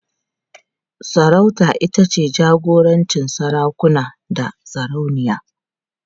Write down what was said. Sarauta ita ce jagorancin sarakuna da sarauniya.